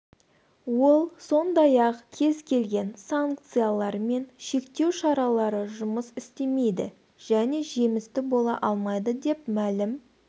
ол сондай-ақ кез келген санкциялар мен шектеу шаралары жұмыс істемейді және жемісті бола алмайды деп мәлім